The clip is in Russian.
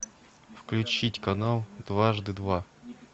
включить канал дважды два